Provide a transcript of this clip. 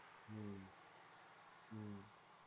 હમ્મ હમ્મ